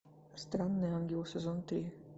странный ангел сезон три